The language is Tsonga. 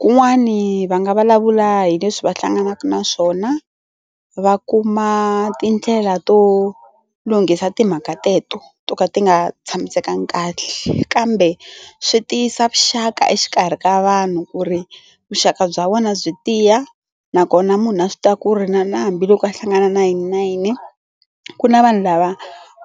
kun'wani va nga vulavula hi leswi va hlanganaka na swona va kuma tindlela to lunghisa timhaka teto to ka ti nga tshamisekanga kahle kambe swi tiyisa vuxaka exikarhi ka vanhu ku ri vuxaka bya vona byi tiya nakona munhu a swi ta ku ri na na hambiloko a hlangana nayininayini ku na vanhu lava